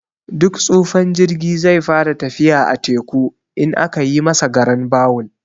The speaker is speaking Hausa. Duk tsufan jirgi zai fara tafiya a teku, in aka yi masa garan bawul.